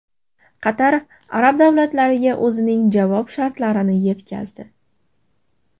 Qatar arab davlatlariga o‘zining javob shartlarini yetkazdi.